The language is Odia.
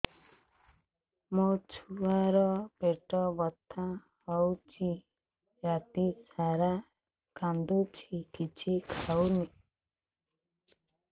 ମୋ ଛୁଆ ର ପେଟ ବଥା ହଉଚି ରାତିସାରା କାନ୍ଦୁଚି କିଛି ଖାଉନି